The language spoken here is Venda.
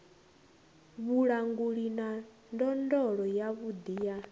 vhulanguli na ndondolo yavhuḓi ya